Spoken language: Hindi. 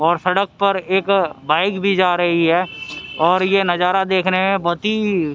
और सड़क पर एक बाइक भी जा रही है और ये नजारा देखने में बहुत ही--